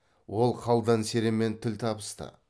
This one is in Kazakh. ол қалдан серенмен тіл табысты